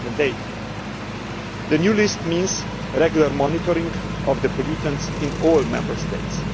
2008. The new list means regular monitoring of pollutants in all Member States.